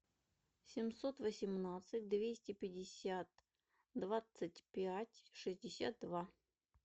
семьсот восемнадцать двести пятьдесят двадцать пять шестьдесят два